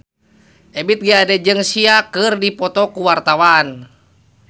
Ebith G. Ade jeung Sia keur dipoto ku wartawan